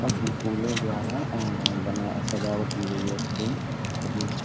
कम्पली फूलो द्वारा आ बना सजावट की गयी है उसको काफी अच्छा --